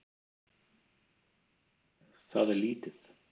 Það er lítið